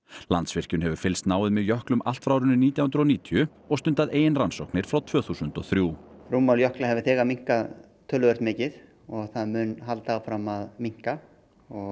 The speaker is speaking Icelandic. Landsvirkjun hefur fylgst náið með jöklum allt frá árinu nítján hundruð og níutíu og stundað eigin rannsóknir frá tvö þúsund og þrjú rúmmál jökla hefur þegar minnkað töluvert mikið og það mun halda áfram að minnka